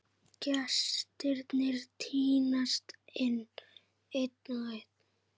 Gestirnir tínast inn, einn og einn.